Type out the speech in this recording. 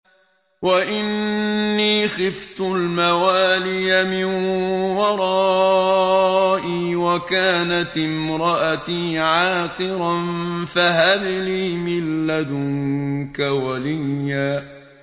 وَإِنِّي خِفْتُ الْمَوَالِيَ مِن وَرَائِي وَكَانَتِ امْرَأَتِي عَاقِرًا فَهَبْ لِي مِن لَّدُنكَ وَلِيًّا